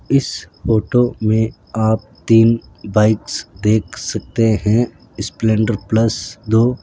इस फोटो में आप तीन बाइक्स देख सकते हैं स्प्लेंडर प्लस दो --